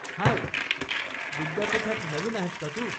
हाय, विद्यापीठात नवीन आहेस का तू?